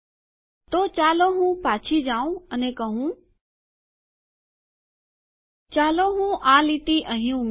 તો ચાલો હું પાછી જાઉં અને કહું ચાલો હું આ લીટી અહી ઉમેરું